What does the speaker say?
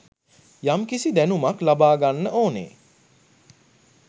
යම්කිසි දැනුමක් ලබාගන්න ඕනෙ.